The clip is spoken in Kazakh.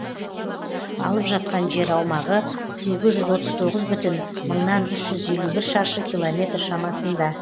алып жатқан жер аумағы сегіз жүз отыз тоғыз бүтін мыңнан үш жүз елу бір шаршы километр шамасында